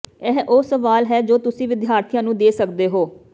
ਇਹ ਉਹ ਸਵਾਲ ਹੈ ਜੋ ਤੁਸੀਂ ਵਿਦਿਆਰਥੀਆਂ ਨੂੰ ਦੇ ਸਕਦੇ ਹੋ